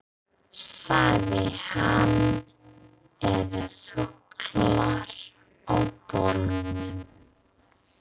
sagði hann, eða þukla á bólunum.